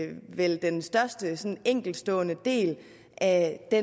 vel den største enkeltstående del af det